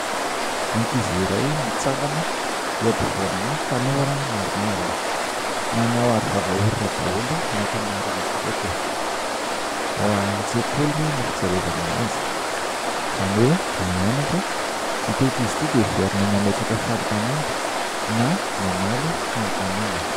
Ankizy iray mitsangana eo afovoanina tanora maromaro. Manao aro vavahorina daholo ny ankamaroan'izy ireto. Ao antsekoliny no fijerevana anazy. Izany hoe mianatra ity ankizy ity dia heverina mametraka fanontaniana na mamaly fanontaniana.